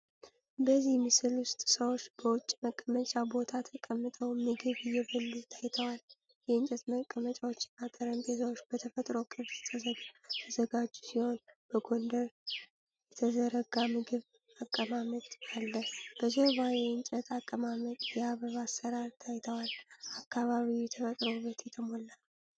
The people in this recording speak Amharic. በዚህ ምስል ውስጥ ሰዎች በውጭ መቀመጫ ቦታ ተቀምጠው ምግብ እየበሉ ታይተዋል። የእንጨት መቀመጫዎችና ጠረጴዛዎች በተፈጥሮ ቅርጽ ተዘጋጁ ሲሆን በጎንደር የተዘረጋ ምግብ አቀማመጥ አለ። በጀርባ የእንጨት አቀማመጥ፣ የአበባ አሰራር ታይተዋል። አካባቢው በተፈጥሮ ውበት የተሞላ ነው።